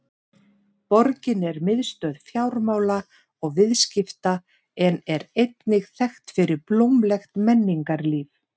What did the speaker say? Borgin er miðstöð fjármála og viðskipta en er einnig þekkt fyrir blómlegt menningarlíf.